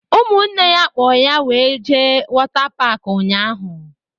Ụmụnne ya kpo ya wéré jee wota pak ụnyaahụ